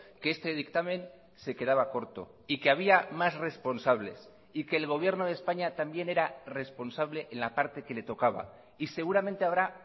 que este dictamen se quedaba corto y que había más responsables y que el gobierno de españa también era responsable en la parte que le tocaba y seguramente habrá